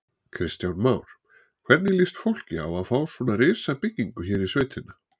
Kristján Már: Hvernig líst fólki á að fá svona risabyggingu hér í sveitina?